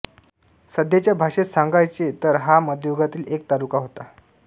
सध्याच्या भाषेत सांगायचे तर हा मध्ययुगातील एक तालुका होता